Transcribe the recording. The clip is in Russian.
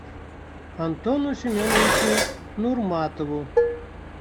антону семеновичу нурматову